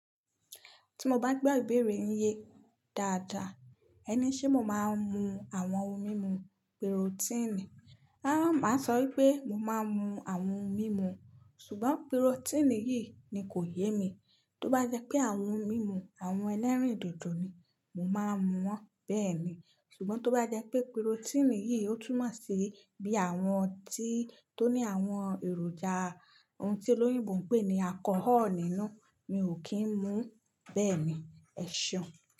Tí mo bá gbó ìbéèrè yín yé dáadáa, ẹni ṣé mo máa ń mu àwọn ohun mímu pírótínì? Rárá, máa sọ wípé mo máa ń mu àwọn ohun mímu, ṣùgbọ́n pírótínì yìí ni kò yé mi. Tó bá jẹ́ pé àwọn ohun mímu àwọn ẹlẹ́rìndòdò ni, mo máa mu wọ́n bẹ́ẹ̀ ni. Ṣùgbọ́n tó bá jẹ́ pé pírótínì yìí ó túmọ̀ sí bí àwọn tí ó ní àwọn èròjà ohun tí olóyìnbo ń pè ní alcohol nínú, mi ò kí ń mu bẹ́ẹ̀ ni. Ẹ̀ṣọ́